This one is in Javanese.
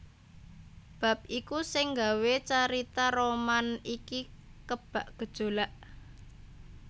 Bab iku sing gawé carita roman iki kebak gejolak